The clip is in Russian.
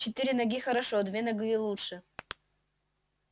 четыре ноги хорошо две ноги лучше